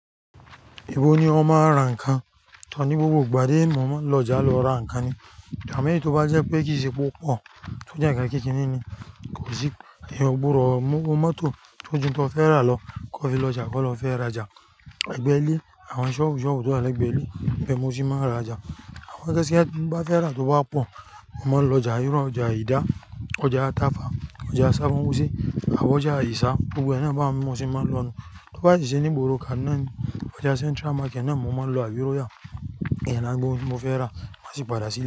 Ibo ni o máa ń ra nǹkan? Tọ̀ ní gbogbo ìgbà ti mo máa lọ ọjà lọ ra nǹkan ni. Ìgbami tí ó bá jẹ́ pé kì í ṣe púpọ̀ tí ó jẹ́ nkan kékeré ni, kò sí i, ẹyan ògbòdo owo moto tó jù tó fẹ́ rà lọ kọ́ fi lọ ọjà kọ́ lọ fẹ́ rajà. Ẹ̀gbẹ́ ilé, àwọn ṣọ́obu soobu tó wà lẹ́gbẹ̀ẹ́ ilé ibẹ mo tì máa ń rajà. Àmo ijo tin bá fẹ́ rà tó bá pọ̀, mo máa ń lọ ọjà ìru, ọjà ìdá, ọjà Tàfà, ọjà Sabo, Abo ọjà Àyìsà gbogbo naa bá mo se máa ń lọ nu. Tí o bá ti ṣe ní ìgboro kan náà ni ọjà Central Market náà mo máa ń lọ àbí róyà, ki n de ra gbogbo ohun tí mo fẹ́ rà má sì padà sílẹ̀